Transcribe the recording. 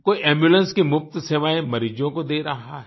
कोई एम्बुलेंस की मुफ़्त सेवाएँ मरीजों को दे रहा है